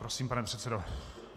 Prosím, pane předsedo.